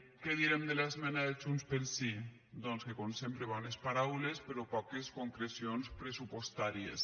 què direm de l’esmena de junts pel sí doncs que com sempre bones paraules però poques concrecions pressupostàries